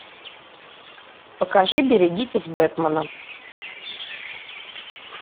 покажи берегитесь бэтмена